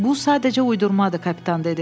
Bu sadəcə uydurmadır, kapitan dedi.